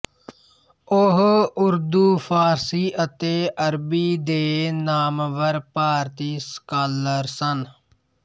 ਉਹ ਉਰਦੂ ਫ਼ਾਰਸੀ ਅਤੇ ਅਰਬੀ ਦੇ ਨਾਮਵਰ ਭਾਰਤੀ ਸਕਾਲਰ ਸਨ